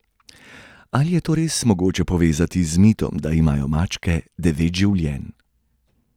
Ali je to res mogoče povezati z mitom, da imajo mačke devet življenj?